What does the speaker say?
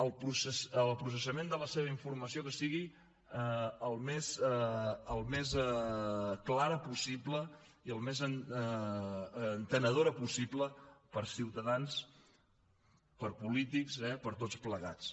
el processament de la seva informació que sigui el més clar possible i el més entenedor possible per a ciutadans per a polítics eh per a tots plegats